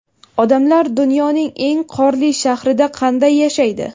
Odamlar dunyoning eng qorli shahrida qanday yashaydi .